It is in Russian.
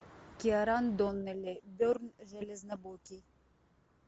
киаран доннелли бьерн железнобокий